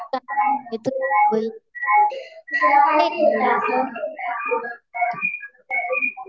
बाकी काही नाही. तू बोल.